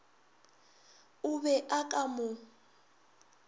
o be a ka mo